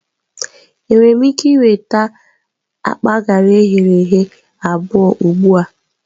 Enwere m ike nweta akpa garị eghere eghe abụọ ugbu a?